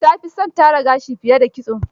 Ta fi son tara gashi fiye da kitso.